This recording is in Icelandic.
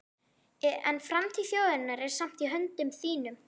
En framtíð þjóðarinnar er samt í höndum þínum.